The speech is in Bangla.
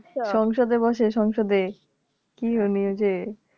সংসদ এ বসে সংসদ এ কি উনি ওইযে